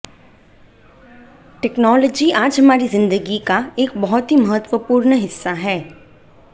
technology आज हमारी जिंदगी का एक बहुत ही महत्वपूर्ण हिस्सा है